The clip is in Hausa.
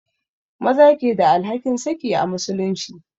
Maza ke da alhakin saki a musulunci